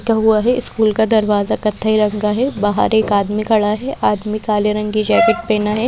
टूटा हुआ है स्कूल का दरवाजा कथई रग का है बाहर एक आदमी खड़ा है आदमी काले रंग की जैकेट पहना है।